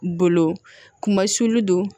Bolo kuma sulu don